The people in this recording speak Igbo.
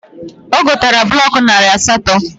O gotara blọk narị asatọ